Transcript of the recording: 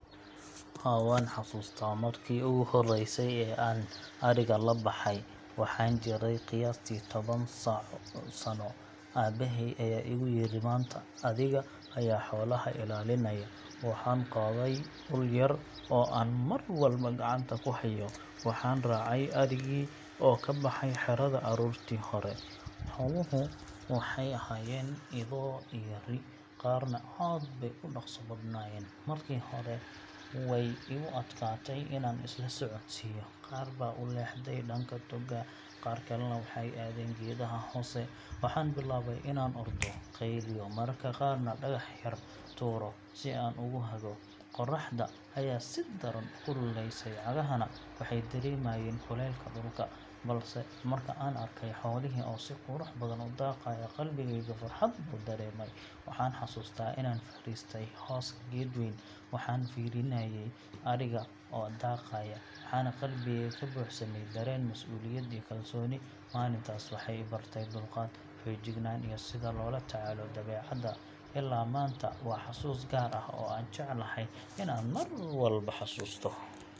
Haa, waan xasuustaa markii ugu horreysay ee aan adhiga la baxay. Waxaan jiray qiyaastii toban sano, aabbahay ayaa igu yiri maanta adiga ayaa xoolaha ilaalinaya. Waxaan qaaday ul yar oo aan mar walba gacanta ku hayo, waxaan raacay adhigii oo ka baxay xerada aroortii hore. Xooluhu waxay ahaayeen ido iyo ri’, qaarna aad bay u dhaqso badanayeen. Markii hore way igu adkaatay inaan isla socodsiiyo, qaar baa u leexday dhanka togga, qaar kalena waxay aadeen geedaha hoose. Waxaan bilaabay inaan ordo, qeyliyo, mararka qaarna dhagax yar tuuro si aan ugu hago. Qorraxda ayaa si daran u kululeysay, cagahana waxay dareemayeen kulaylka dhulka. Balse marka aan arkay xoolihii oo si qurux badan u daaqaya, qalbigayga farxad buu dareemay. Waxaan xasuustaa inaan fadhiistay hooska geed weyn, waxaan fiirinayay adhiga oo daaqaya, waxaana qalbigayga ka buuxsamay dareen mas’uuliyad iyo kalsooni. Maalintaas waxay i bartay dulqaad, feejignaan, iyo sida loola tacaalo dabeecadda. Ilaa maanta waa xasuus gaar ah oo aan jeclahay inaan mar walba xasuusto.